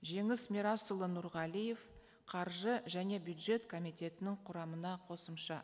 жеңіс мирасұлы нұрғалиев қаржы және бюджет комитетінің құрамына қосымша